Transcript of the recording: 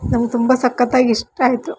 ನಾವು ತುಂಬಾ ಸಕ್ಕತ್ತಾಗ್ ಇಷ್ಟ ಆಯಿತು.